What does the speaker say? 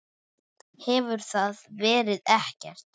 Hefur það verið gert?